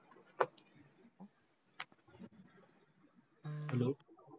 hello